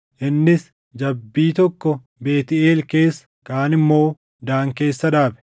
Innis jabbii tokko Beetʼeel keessa, kaan immoo Daan keessa dhaabe.